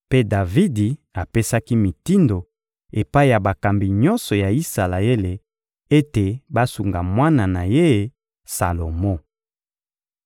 Mpe Davidi apesaki mitindo epai ya bakambi nyonso ya Isalaele ete basunga mwana na ye Salomo.